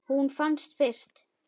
Hún fannst fyrst.